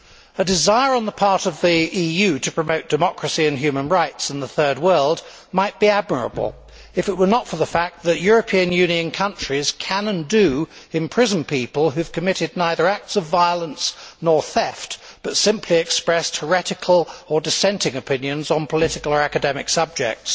A desire on the part of the EU to promote democracy and human rights in the Third World might be admirable, if it were not for the fact that European Union countries can, and do, imprison people who have committed neither acts of violence nor theft, but simply expressed heretical or dissenting opinions on political or academic subjects.